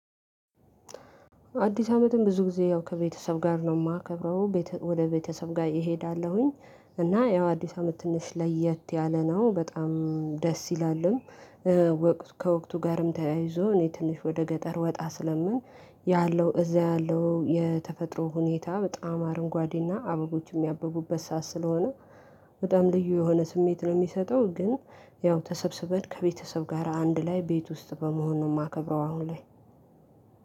አዲስ አመትን ብዙ ጊዜ ያው ከቤተሰብ ጋር ነው የማከብረው ወደ ቤተሰብ ጋር እሄዳለሁኝ። እና ያው አዲስ አመት ትንሽ ለየት ያለ ነው በጣም ደስ ይላሉም። ከወቅቱ ጋርም ተያይዞ እኔ ትንሽ ወደ ገጠር ወጣ ስለምን ያለው እዛ ያለው የተፈጥሮ ሁኔታ በጣም አረንጓዴና አበቦችም የሚያብበት ሰዓት ስለሆነ በጣም ልዩ የሆነ ስሜት ነው የሚሰጠው። ግን ያው ተሰብስበን ከቤተሰብ ጋር አንድ ላይ ቤት ውስጥ በመሆኑ ነው የማከብረው። አሁን ላይ